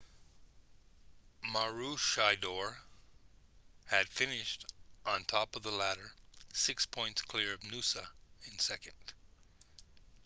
maroochydore had finished on top of the ladder six points clear of noosa in second